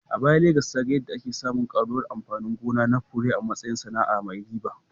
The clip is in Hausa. A baya, Legas ta ga yadda ake samun ƙaruwar amfani gona na fure a matsayin sana’ar mai riba